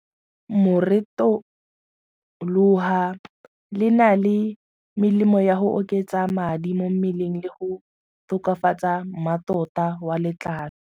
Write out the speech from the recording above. Moretoloha le na le melemo ya go oketsa madi mo mmeleng le go tokafatsa mmatota wa letlalo.